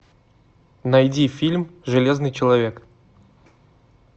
найди фильм железный человек